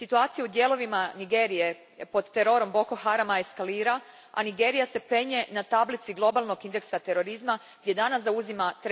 Situacija u dijelovima Nigerije pod terorom Boko Harama eskalira, a Nigerija se penje na tablici Globalnog indeksa terorizma gdje danas zauzima